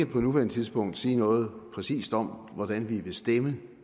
på nuværende tidspunkt ikke sige noget præcist om hvordan vi vil stemme